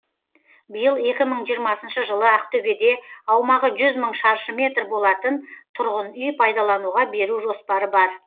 биыл екі мың жиырмасыншы жылы ақтөбеде аумағы жүз мың шаршы метр болатын тұрғын үй пайдалануға беру жоспары бар